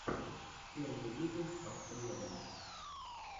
первый выпуск автомедон